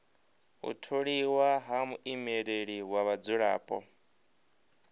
u tholiwa ha muimeleli wa vhadzulapo